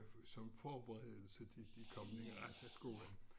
Fordi at det skulle jo betales for selv og det var som forberedelse til de kom i retterskolen